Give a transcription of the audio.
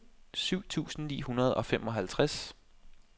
syv tusind ni hundrede og femoghalvtreds